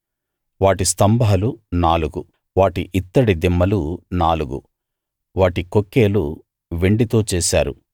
వాటి స్తంభాలు నాలుగు వాటి ఇత్తడి దిమ్మలు నాలుగు వాటి కొక్కేలు వెండితో చేశారు